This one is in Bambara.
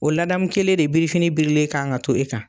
O ladamu kelen de birifini birilen kan ka to e kan.